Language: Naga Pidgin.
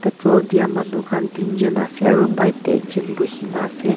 petrol diya manu khan tinjun ase aru bite teh ekjun buhina ase.